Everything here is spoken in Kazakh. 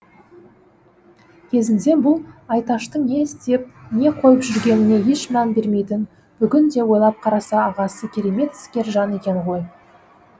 кезінде бұл айташтың не істеп не қойып жүргеніне еш мән бермейтін бүгінде ойлап қараса ағасы керемет іскер жан екен ғой